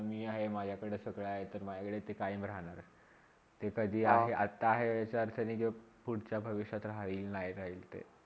मी आहे, माझ्याकडे सगळे आहे ती तर माझ्याकडे ते काहीवी राहणार नाही, ते कधी आपले आता हे विचार तरी घेऊन अपल्या पुढच्या भविष्यात राहिल नय राहिलता